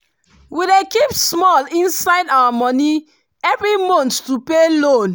we dey keep small inside our money every month to pay loan.